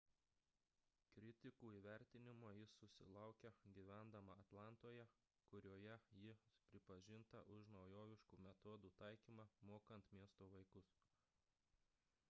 kritikų įvertinimo ji susilaukė gyvendama atlantoje kurioje ji pripažinta už naujoviškų metodų taikymą mokant miesto vaikus